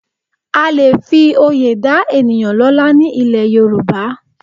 À lè fi oyè dá ènìyàn lọ́lá ní ilẹ̀ Yorùbá